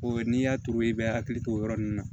O ye n'i y'a turu i bɛ hakili to o yɔrɔ ninnu na